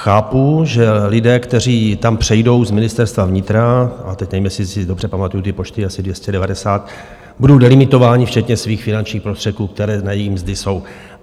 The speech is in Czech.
Chápu, že lidé, kteří tam přejdou z Ministerstva vnitra, a teď nevím, jestli si dobře pamatuji ty počty, asi 290, budou delimitováni včetně svých finančních prostředků, které na jejich mzdy jsou.